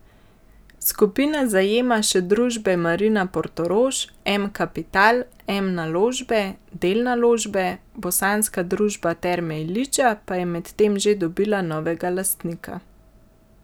Skupina zajema še družbe Marina Portorož, M Kapital, M Naložbe, Del Naložbe, bosanska družba Terme Ilidža pa je medtem že dobila novega lastnika.